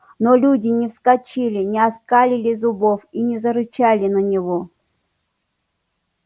но люди не вскочили не оскалили зубов и не зарычали на него